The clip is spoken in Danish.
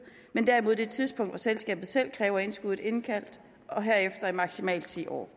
men derimod det tidspunkt hvor selskabet selv kræver indskuddet indkaldt og herefter i maksimalt ti år